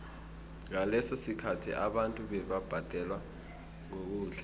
ngaleso sikhathi abantu bebabhadelwa ngokudla